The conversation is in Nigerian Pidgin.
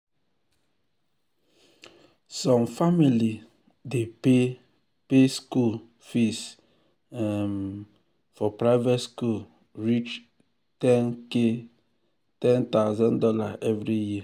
some family dey pay pay school um fees um for um private school reach $10k every year